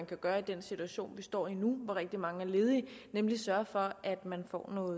kan gøre i den situation vi står i lige nu hvor rigtig mange er ledige nemlig sørge for at man får noget